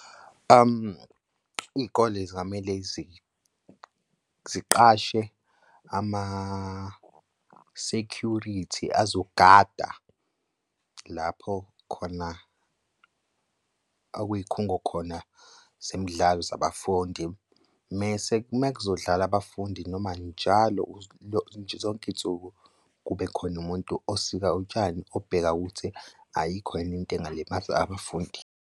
Iy'kole zingamele ziqashe ama-security azogada lapho khona akuy'khungo khona zemidlalo zabafundi. Mese kumekuzodlala abafundi noma njalo zonke iy'nsuku kube khona umuntu osika utshani obheka ukuthi ayikho yini into engalimaza abafundi.